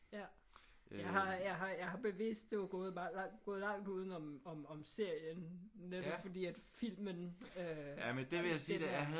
Ja. Jeg har jeg har jeg har bevidst gået meget langt udenom om om serien netop fordi at filmen øh den er